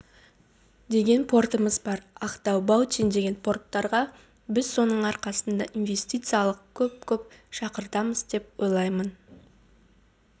деген портымыз бар ақтау баутин деген порттарға біз соның арқасында инвестициялық көп-көп шақыртамыз деп ойлаймын